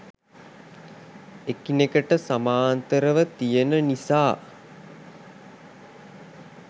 එකිනෙකට සමාන්තරව තියෙන නිසා